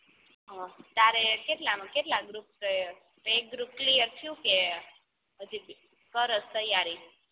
અહ તારે કેટલાંમાં કેટલા group બે group clear થ્યું કે હજી કરસ તૈયારી